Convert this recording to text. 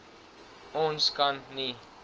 ons kan nie